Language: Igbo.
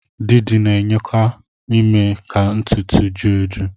Didi na-enyeaka ime ka ntutu ju eju